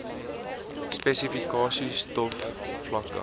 spesifikasies tov vlakke